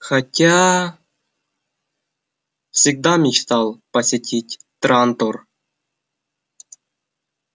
хотя всегда мечтал посетить трантор